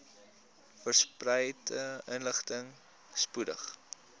vereiste inligting spoedig